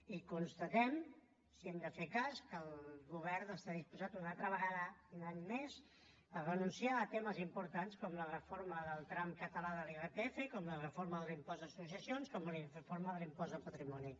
i constatem si n’hem de fer cas que el govern està disposat una altra vegada un any més a renunciar a temes importants com la reforma del tram català de l’irpf com la reforma de l’impost de successions com la reforma de l’impost de patrimoni